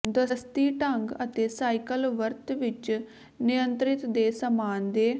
ਦਸਤੀ ਢੰਗ ਅਤੇ ਸਾਈਕਲ ਵਰਤ ਵਿੱਚ ਨਿਯੰਤਰਿਤ ਦੇ ਸਾਮਾਨ ਦੇ